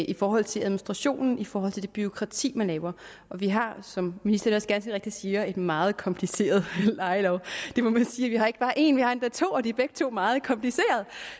i forhold til administrationen i forhold til det bureaukrati man laver vi har som ministeren også ganske rigtigt siger en meget kompliceret lejelov det må man sige og vi har ikke bare en vi har endda to og de er begge to meget komplicerede